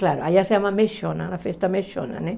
Claro, aí se chama mechona, uma festa mechona, né?